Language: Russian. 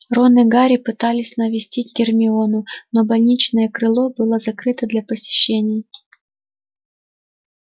рон и гарри пытались навестить гермиону но больничное крыло было закрыто для посещений